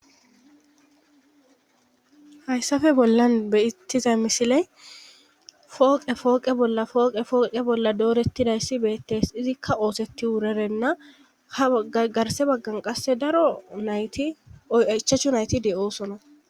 hayssafe bollan bettiza misile fooqe fooqe bolla fooqe fooqe bolla doorettidayssi beettes izikka oosetti wurerenna ha agarse baggan qasse daro nayti oyaichachu nayti de7oosona